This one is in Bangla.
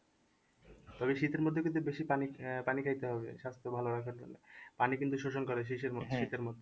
তবে শীতের মধ্যে কিন্তু বেশি পানি আহ পানি খাইতে হবে স্বাস্থ্য ভালো রাখার জন্য। পানি কিন্তু শোষণ করে শীতের